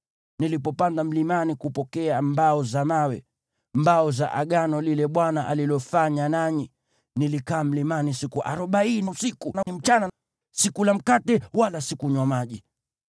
Nilipopanda mlimani kupokea mbao za mawe, mbao za Agano lile Bwana alilofanya nanyi, nilikaa mlimani siku arobaini usiku na mchana, sikula mkate wala sikunywa maji.